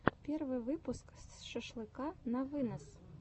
первый выпуск шашлыка на вынос